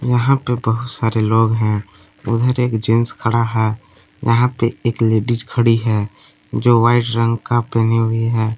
यहां पे बहुत सारे लोग हैं उधर एक जेंट्स खड़ा है यहां पे एक लेडिस खड़ी है जो व्हाइट रंग का पहनी हुई है।